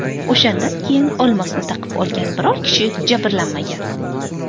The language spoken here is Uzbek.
O‘shandan keyin olmosni taqib olgan biror kishi jabrlanmagan.